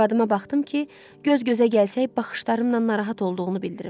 Arvadıma baxdım ki, göz-gözə gəlsək baxışlarımla narahat olduğunu bildirim.